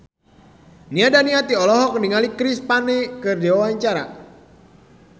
Nia Daniati olohok ningali Chris Pane keur diwawancara